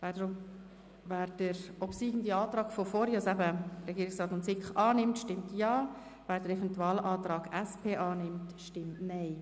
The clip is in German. Wer den Antrag Regierungsrat und SiK, der gerade obsiegt hat, annimmt, stimmt Ja, wer den Eventualantrag SP-JUSO-PSA annimmt, stimmt Nein.